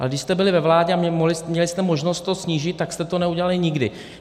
Ale když jste byli ve vládě a měli jste možnost to snížit, tak jste to neudělali nikdy.